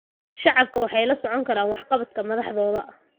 Shacabku waxay la socon karaan waxqabadka madaxdooda.